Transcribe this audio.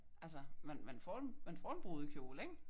Altså man man får man får en brudekjole ik?